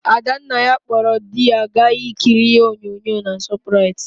Adannaya kpọrọ dị gaa ikiri ihe onyonyo na Shọprait.